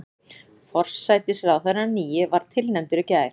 Forsætisráðherrann nýi var tilnefndur í gær